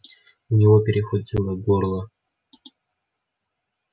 у него перехватило горло